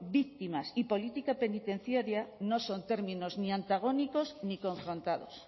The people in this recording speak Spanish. víctimas y política penitenciaria no son términos ni antagónicos ni confrontados